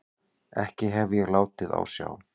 Ekki hef ég látið á sjá.